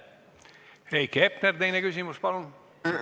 Heiki Hepner, teine küsimus, palun!